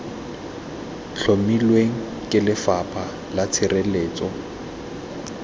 tlhomilweng ke lefapha la tshireletso